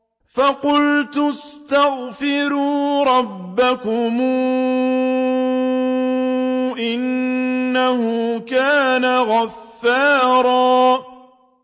فَقُلْتُ اسْتَغْفِرُوا رَبَّكُمْ إِنَّهُ كَانَ غَفَّارًا